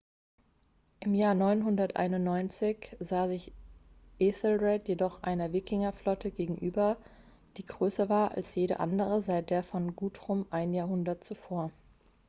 im jahr 991 sah sich ethelred jedoch einer wikingerflotte gegenüber die größer war als jede andere seit der von guthrum ein jahrhundert zuvor